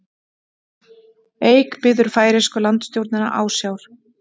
Eik biður færeysku landstjórnina ásjár